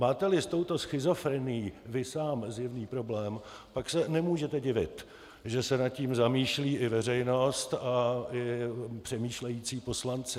Máte-li s touto schizofrenií vy sám zjevný problém, pak se nemůžete divit, že se nad tím zamýšlí i veřejnost i přemýšlející poslanci.